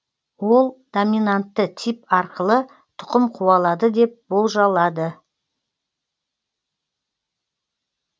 ол доминантты тип арқылы тұқым қуалады деп болжалады